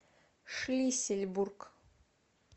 шлиссельбург